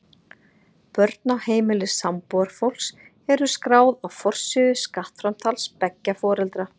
Börn á heimili sambúðarfólks eru skráð á forsíðu skattframtals beggja foreldra.